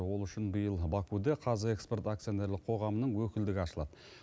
ол үшін биыл бакуде қазэкспорт акционерлік қоғамының өкілдігі ашылады